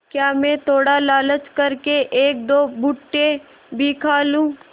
क्या मैं थोड़ा लालच कर के एकदो भुट्टे भी खा लूँ